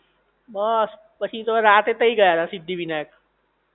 બસ પછી રાતે તો તઈ ગયાતા સિદ્ધિવિનાયક